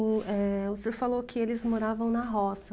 O, eh, senhor falou que eles moravam na roça.